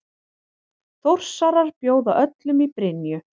Þórsarar bjóða öllum í Brynju!